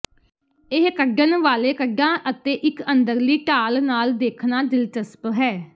ਇਹ ਕਢਣ ਵਾਲੇ ਕਢਾਂ ਅਤੇ ਇੱਕ ਅੰਦਰਲੀ ਢਾਲ ਨਾਲ ਦੇਖਣਾ ਦਿਲਚਸਪ ਹੈ